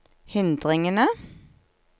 hindringene